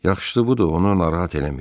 Yaxşısı budur, onu narahat eləməyək.